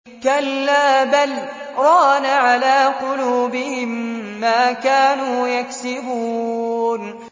كَلَّا ۖ بَلْ ۜ رَانَ عَلَىٰ قُلُوبِهِم مَّا كَانُوا يَكْسِبُونَ